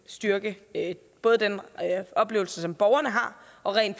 styrke både den oplevelse borgerne har og rent